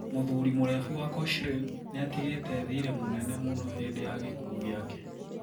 Mũthuri mũrebi wa Cochrane niatigite thire mũnene mũno hindi ya gikuo giake.